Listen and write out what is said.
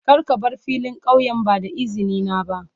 Kar ka bar filin kauyen ba da izini na ba.